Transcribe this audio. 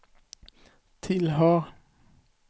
tillhör